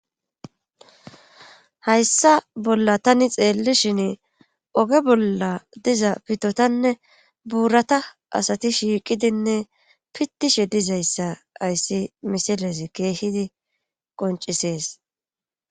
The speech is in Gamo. hayssa bolla tani xeelli shin oge bolla diza pitotanne buurata asati shiiqidinne pittishe dizayssa ayssi misiles keehidi qoncisees